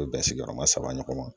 bɛn sigiyɔrɔma saba ɲɔgɔn ma